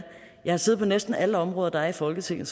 jeg har siddet næsten alle områder der er i folketinget